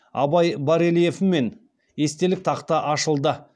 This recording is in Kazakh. абай барельефімен естелік тақта ашылды